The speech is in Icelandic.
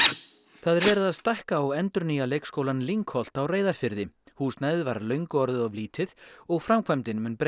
það er verið að stækka og endurnýja leikskólann Lyngholt á Reyðarfirði húsnæðið var löngu orðið of lítið og framkvæmdin mun breyta